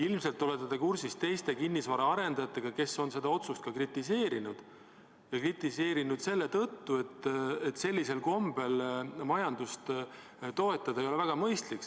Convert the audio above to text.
Ilmselt te olete kursis, et teised kinnisvaraarendajad on seda otsust ka kritiseerinud, ja kritiseerinud selle tõttu, et sellisel kombel majandust toetada ei ole väga mõistlik.